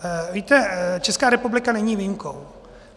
Víte, Česká republika není výjimkou.